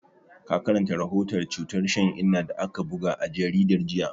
Ka karanta rahoton cutar shan inna da aka buga a jaridar jiya?